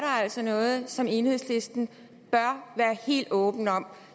altså noget som enhedslisten bør være helt åben om